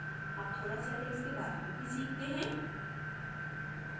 अब थोडा settings के बारे में भी सीखते हैं